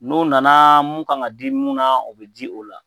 N'u nana mun ka kan di mun na o bɛ di o la